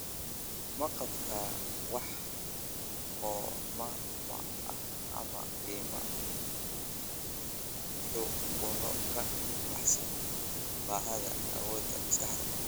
ma qabtaa wax qoomamo ah ama qiimee xukuno ka baxsan baaxadda awooda maskaxdaada